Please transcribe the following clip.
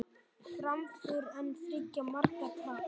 Framför en þriggja marka tap